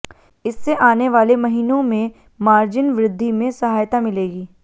इससे आने वाले महीनों में मार्जिन वृद्धि में सहायता मिलेगी